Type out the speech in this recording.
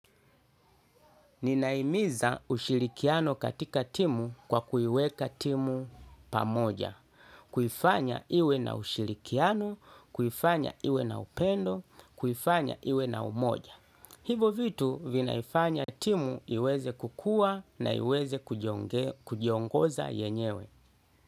Ninahimiza ushilikiano katika timu kwa kuiweka timu pamoja. Kuifanya iwe na ushilikiano, kuifanya iwe na upendo, kuifanya iwe na umoja. Hivo vitu vinaifanya timu iweze kukua na iweze kujiongoza yenyewe.